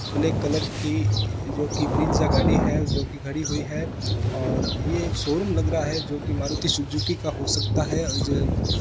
Black colour की जो की ब्रेजा गाड़ी है जो की खड़ी हुई है और यह शोरूम लग रहा है जो की मारुति सुजुकी का हो सकता है।